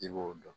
I b'o dɔn